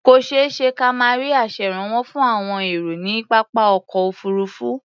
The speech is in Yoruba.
Kò ṣeé ṣe ka má rí aṣèrànwọ́ fún àwọn èrò ní pápá ọkọ̀ òfuurufú.